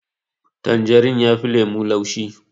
Tanjarin yafi lemo laushi